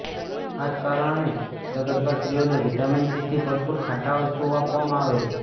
આ જ કારણ છે કે સગર્ભા સ્ત્રીઓને વિટામિન સીથી ભરપૂર ખાટા વસ્તુઓ આપવામાં આવે છે